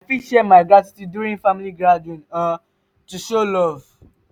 i fit share my gratitude during family gathering um to show love.